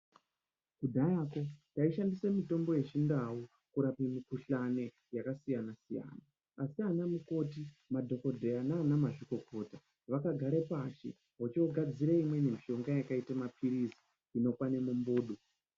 Kudhayako tishandise mitombo yechindau kurape mikhuhlani yakasiyana siyana asi ana mukoti, madhokodheya nanamazvikokota vakagare pashi vochogadzira imweni mishonga yakaite maphirizi inokwane mumbudu.